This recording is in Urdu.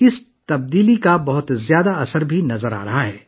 اس تبدیلی کا بہت بڑا اثر بھی نظر آرہا ہے